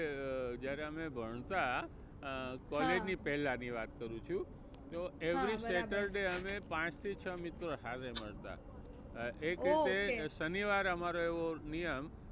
અ જયારે અમે ભણતા અ college ની પેહલા વાત કરું છુ તો every saturday અમે પાંચ થી છ મિત્રો હારે મળતા. એક રીતે શનિવારે અમારો એવો નિયમ